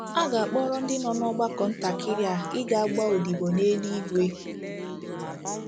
A ga-akpọrọ ndị nọ n'ọgbakọ ntakịrị a ịga gbaa odibo n’eluigwe.